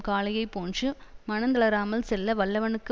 காளையைப் போன்று மனந்தளராமல் செல்ல வல்லவனுக்கு